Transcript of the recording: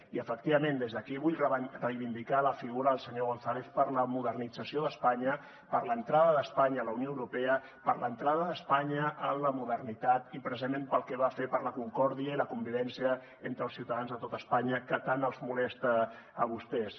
i efectivament des d’aquí vull reivindicar la figura del senyor gonzález per la modernització d’espanya per l’entrada d’espanya a la unió europea per l’entrada d’espanya en la modernitat i precisament pel que va fer per la concòrdia i la convivència entre els ciutadans de tot espanya que tant els molesta a vostès